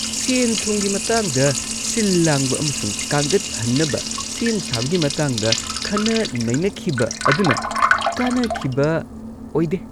ꯁꯦꯟ-ꯊꯨꯝꯒꯤ ꯃꯇꯥꯡꯗ ꯁꯤꯜ-ꯂꯥꯡꯕ ꯑꯃꯁꯨꯡ ꯀꯥꯡꯒꯠ ꯍꯟꯅꯕ ꯁꯦꯝ-ꯁꯥꯕꯒꯤ ꯃꯇꯥꯡꯗ ꯈꯟꯅ-ꯅꯩꯅꯈꯤꯕ ꯑꯗꯨꯅ ꯀꯥꯟꯅꯈꯤꯕ ꯑꯣꯏꯗꯦ ꯫